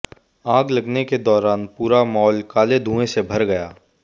आग लगने के दौरान पूरा मॉल काले धुएं से भर गया